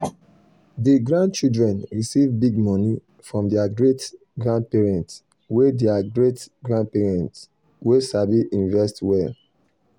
di grandchildren receive big money from their great-grandparents wey their great-grandparents wey sabi invest well.